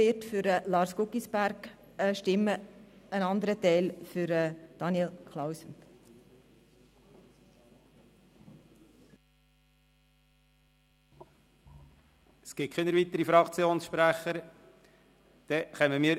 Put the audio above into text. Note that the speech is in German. Bei 159 ausgeteilten und 159 eingegangenen Wahlzetteln, wovon leer 3 und ungültig 0, wird bei einem absoluten Mehr von 79 gewählt: